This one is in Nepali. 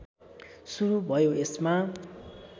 सुरु भयो यसमा